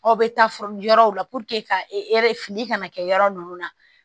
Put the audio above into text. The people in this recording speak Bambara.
Aw bɛ taa fɔ yɔrɔw la ka fili ka na kɛ yɔrɔ ninnu na